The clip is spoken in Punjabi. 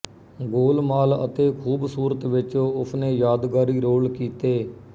ਗੋਲ ਮਾਲ ਅਤੇ ਖੂਬਸੂਰਤ ਵਿੱਚ ਉਸਨੇ ਯਾਦਗਾਰੀ ਰੋਲ ਕੀਤੇ